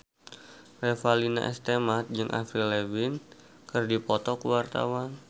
Revalina S. Temat jeung Avril Lavigne keur dipoto ku wartawan